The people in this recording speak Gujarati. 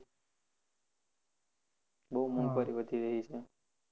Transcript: બહુ મોઘવારી વધી રહી છે